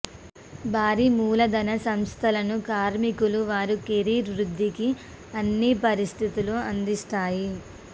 భారీ మూలధన సంస్థలను కార్మికులు వారి కెరీర్ వృద్ధికి అన్ని పరిస్థితులు అందిస్తాయి